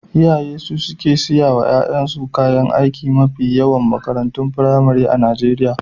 Iyaye su suke saya wa ƴaƴansu kayan aiki a mafi yawan makarantun firamare na Najeriya.